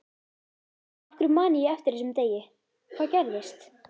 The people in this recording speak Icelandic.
Af hverju man ég eftir þessum degi, hvað gerðist?